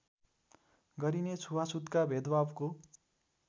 गरिने छुवाछुतका भेदभावको